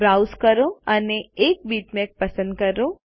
browse કરો અને એક બીટમેપ પસંદ કરો